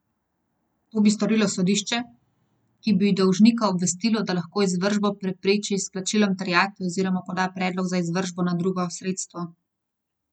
To bi storilo sodišče, ki bi dolžnika obvestilo, da lahko izvršbo prepreči s plačilom terjatve oziroma poda predlog za izvršbo na drugo sredstvo.